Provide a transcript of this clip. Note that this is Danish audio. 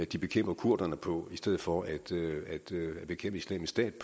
de bekæmper kurderne på i stedet for at bekæmpe islamisk stat